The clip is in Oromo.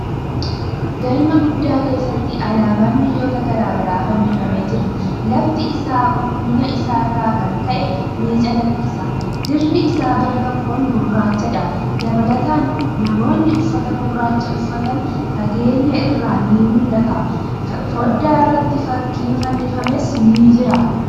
Galma guddaa keessatti alaabaan biyyoota garagaraa fannifamee jira. Lafti isaa qulqullinna isaa irraa kan ka'e ni calaqqisa. Dirri isaa gar-tokkoon gurrachadha. Dabalataan, namoonni uffata gurraacha uffatan fageenya irraa ni mul'ata. Fooddaa irratti fakkiin fannifames ni jira.